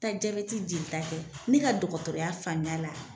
taa jabɛti jelita kɛ ne ka dɔgɔtɔrɔya faamuya la